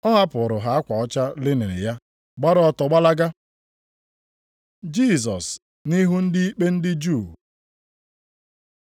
ọ hapụụrụ ha akwa ọcha linin ya, gbara ọtọ gbalaga. Jisọs nʼihu ndị ikpe ndị Juu